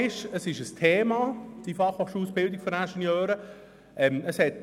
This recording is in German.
Tatsache ist, dass die FH-Ausbildung der Ingenieure ein Thema ist.